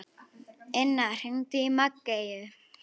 Inna, hringdu í Maggeyju.